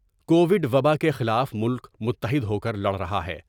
کو وڈوبا کے خلاف ملک متحد ہوکر لڑ رہا ہے ۔